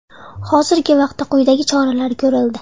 Hozirgi vaqtda quyidagi choralar ko‘rildi.